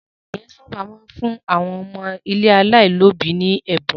Àwọn ènìyàn sábà máa ń fún àwọn ilé ọmọ aláìlóòbí ní ẹ̀bùn.